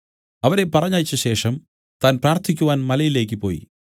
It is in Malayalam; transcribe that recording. അവരെ പറഞ്ഞയച്ചശേഷം താൻ പ്രാർത്ഥിക്കുവാൻ മലയിലേക്ക് പോയി